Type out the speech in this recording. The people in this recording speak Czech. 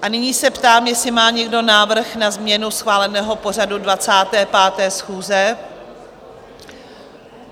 A nyní se ptám, jestli má někdo návrh na změnu schváleného pořadu 25. schůze?